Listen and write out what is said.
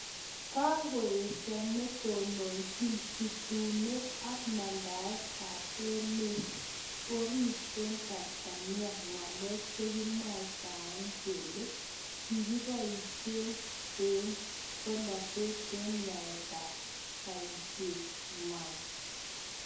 Kakoesho netononchiin chutunet ak mandaet AP emet oriit eng Tansania ng'alek chekimwaitae kelee kikipaishee eng polatet eng yaet ap paishet ngw'ang